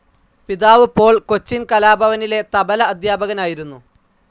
പിതാവ് പോൾ കൊച്ചിൻ കലാഭവനിലെ തബ്ല അധ്യാപകനായിരുന്നു.